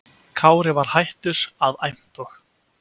Kári var hættur að æmta og